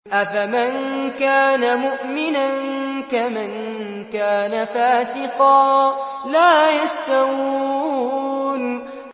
أَفَمَن كَانَ مُؤْمِنًا كَمَن كَانَ فَاسِقًا ۚ لَّا يَسْتَوُونَ